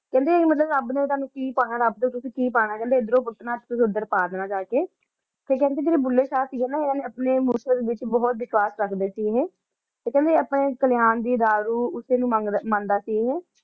ਕੇਹ੍ਨ੍ਡੇ ਮਤਲਬ ਰਾਬ ਨੇ ਤਾਣੁ ਕੀ ਪਾਨਾ ਰਾਬ ਦਾ ਕੀ ਪਾਨਾ ਕੇਹ੍ਨ੍ਡੇ ਏਡ੍ਰੁ ਪੂਤਨਾ ਤੇ ਓਦਰ ਪਾ ਦੇਣਾ ਜਾ ਕੇ ਤੇ ਕੇਹ੍ਨ੍ਡੇ ਜੇਰੇ ਭੁੱਲੇ ਸ਼ਾਹ ਸੀਗੇ ਇਨਾਂ ਨੇ ਮੁਰਸ਼ਦ ਵਿਚ ਬੋਹਤ ਵਫ਼ਾ ਰਖਦੇ ਸੀਗੇ ਏਹੀ ਤੇ ਕੇਹ੍ਨ੍ਡੇ ਅਪਨੇ ਕਲੀਆਂ ਦੀ ਦਾਰੂ ਓਸੇ ਨੂ ਮੰਦਾ ਸੀਗਾ ਏਹੀ